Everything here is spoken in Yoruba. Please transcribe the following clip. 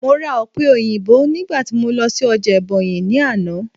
mo ra òpe oyinbo nigba ti mo n lọ sí ọjà ebonyi ni Ana